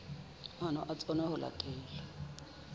maano a tsona ho latela